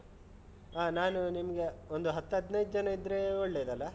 ಆಹ್ ನಾನು ನಿಮ್ಗೆ ಒಂದು ಹತ್ತ್ ಹದ್ನೈದು ಜನ ಇದ್ರೆ ಒಳ್ಳೆದಲ್ಲಾ?